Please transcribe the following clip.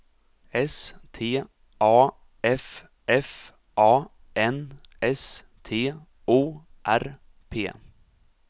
S T A F F A N S T O R P